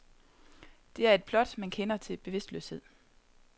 Det er et plot, man kender til bevidstløshed.